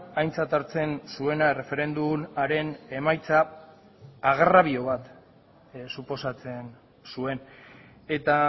aintzat hartzen zuena erreferendumaren emaitza agrabio bat suposatzen zuen eta